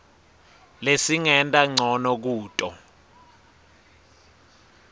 lesingenta ncono kuto